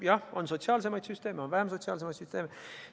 Jah, on sotsiaalsemaid süsteeme, on vähem sotsiaalsemaid süsteeme.